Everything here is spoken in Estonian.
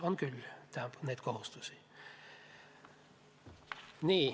On küll neid kohustusi.